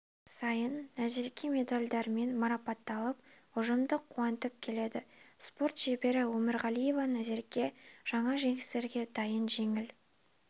сайын назерке медальдармен марапатталып ұжымды қуантып келеді спорт шебері өмірғалиева назерке жаңа жеңістерге дайын жеңіл